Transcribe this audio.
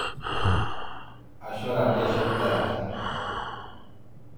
Ashu radiation therapy.